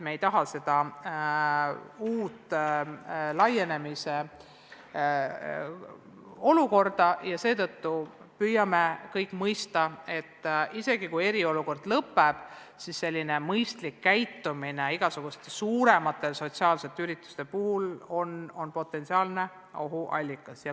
Me ei taha viiruse leviku laienemist ja seetõttu püüame kõik mõista, et isegi siis, kui eriolukord lõpeb, on ka selline mõistlik käitumine igasuguste suuremate sotsiaalsete ürituste puhul potentsiaalne ohuallikas.